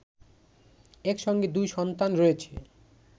একসঙ্গে দুই সন্তান রয়েছে